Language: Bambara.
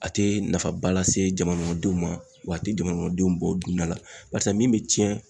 A tɛ nafaba lase jamana denw ma wa a tɛ jamana denw bɔ o dunda la barisa min bɛ tiɲɛn